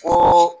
Ko